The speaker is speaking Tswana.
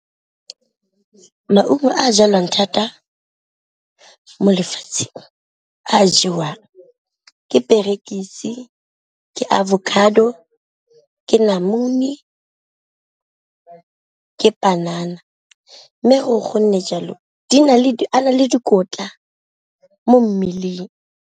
Maungo a jalwang thata mo lefatsheng a jewang ke perekise, ke avocado, ke namune, ka panana mme gore gonne jalo a na le dikotla mo mmeleng.